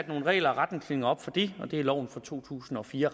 nogle regler og retningslinjer for det og det er i loven fra to tusind og fire